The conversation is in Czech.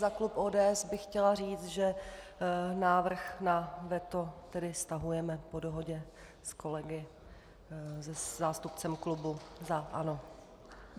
Za klub ODS bych chtěla říct, že návrh na veto tedy stahujeme po dohodě s kolegy... se zástupcem klubu za ANO.